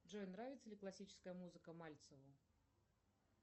джой нравится ли классическая музыка мальцеву